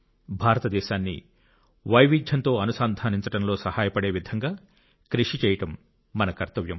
భారతదేశాన్ని వైవిధ్యంతో అనుసంధానించడంలో సహాయపడే విధంగా కృషి చేయడం మన కర్తవ్యం